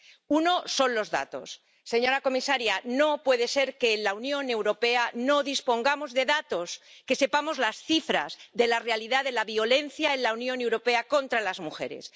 Uno son los datos ―señora comisaria, no puede ser que en la Unión Europea no dispongamos de datos―, que sepamos las cifras de la realidad de la violencia en la Unión Europea contra las mujeres.